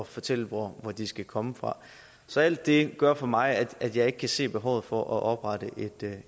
fortæller hvor de skal komme fra så alt det gør for mig at at jeg ikke kan se behovet for at oprette